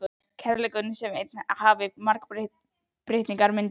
Kærleikurinn sé einn en hafi margar birtingarmyndir